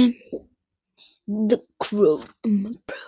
er sko lögga